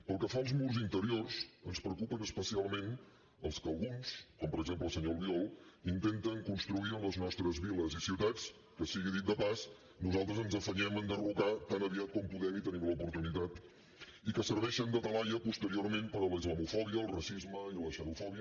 pel que fa als murs interiors ens preocupen especialment els que alguns com per exemple el senyor albiol intenten construir en les nostres viles i ciutats que sigui dit de pas nosaltres ens afanyem a enderrocar tan aviat com podem i tenim l’oportunitat i que serveixen de talaia posteriorment per a la islamofòbia el racisme i la xenofòbia